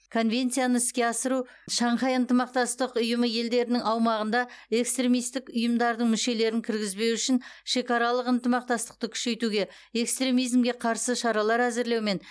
конвенцияны іске асыру шанхай ынтымақтастық ұйымы елдерінің аумағында экстремистік ұйымдардың мүшелерін кіргізбеу үшін шекаралық ынтымақтастықты күшейтуге экстремизмге қарсы шаралар әзірлеу мен